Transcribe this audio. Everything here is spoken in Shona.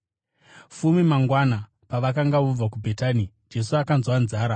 Fume mangwana pavakanga vobva kuBhetani, Jesu akanzwa nzara.